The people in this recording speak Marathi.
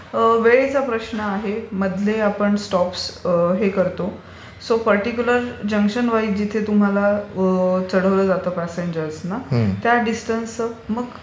वेळेचा प्रश्न आहे. मधले आपण स्टोप्स हे करतो. सो पर्टीक्युलर जंक्शनवाईज जिथे तुम्हाला चढवल जातं प्यासेंजर्सना त्या दिसटन्सचं मग